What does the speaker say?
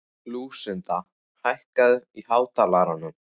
Lúsinda, hækkaðu í hátalaranum.